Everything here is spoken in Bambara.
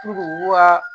u ka